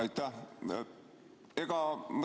Aitäh!